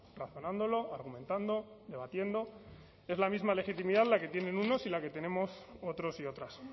razonándolo argumentando debatiendo es la misma legitimidad la que tienen unos y la que tenemos otros y otras